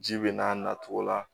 Ji bɛ n'a natogo la